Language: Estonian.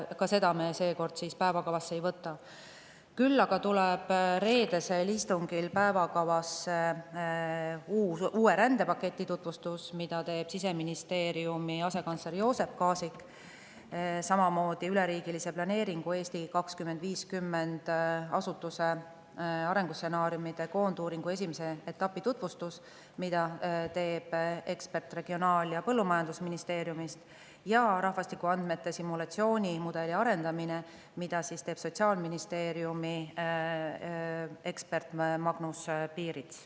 Ka seda me seekord päevakavasse ei võta, küll aga on reedese istungi päevakavas uus rändepakett, mida tutvustab Siseministeeriumi asekantsler Joosep Kaasik, samamoodi üleriigilise planeeringu "Eesti 2050" "Asustuse arengustsenaariumite koonduuring" esimese etapi tutvustus, mida teeb ekspert Regionaal- ja Põllumajandusministeeriumist, ning rahvastikuandmete simulatsioonimudeli arendamine, mida tutvustab Sotsiaalministeeriumi ekspert Magnus Piirits.